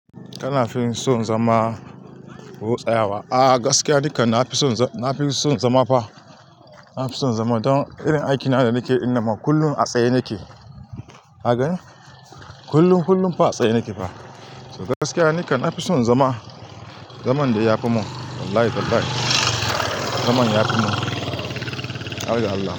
Kana fin so zama ko tsayawa? A gaskiya dukan na fi son, na fi son zama fa. Na fi son zama don irin aiki na da nake ina ma kullum a tsaye nake. Ka gani? Kullum-kullum fa a tsaye nake fa. To gaskiya nikam nafi son zama. Zaman da ya fi mun. Wallahi, -wallahi. Zaman ya fi mun. Har ga Allah.